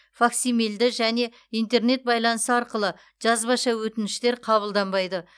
факсимильді және интернет байланысы арқылы жазбаша өтініштер қабылданбайды